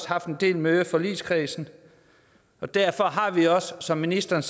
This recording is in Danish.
haft en del møder i forligskredsen og derfor har vi også som ministeren